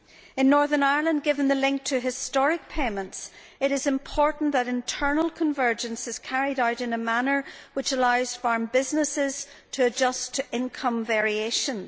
In Northern Ireland, given the link to historic payments, it is important that internal convergence is carried out in a manner which allows farm businesses to adjust to income variations.